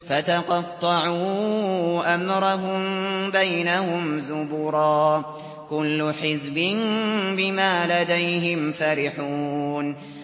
فَتَقَطَّعُوا أَمْرَهُم بَيْنَهُمْ زُبُرًا ۖ كُلُّ حِزْبٍ بِمَا لَدَيْهِمْ فَرِحُونَ